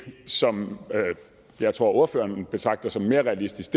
som jeg tror ordføreren betragter som mere realistisk